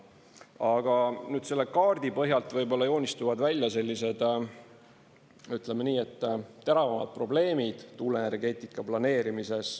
Aga nüüd, selle kaardi põhjalt joonistuvad välja, ütleme nii, et teravamad probleemid tuuleenergeetika planeerimises.